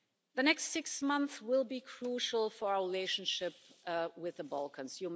The next six months will be crucial for our relationship with the Balkans.